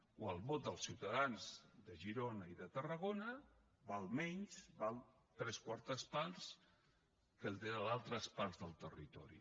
o el vot dels ciutadans de girona i de tarragona val menys val tres quartes parts que el d’altres parts del territori